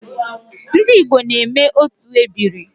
Ndi Igbo na-eme otu ebiri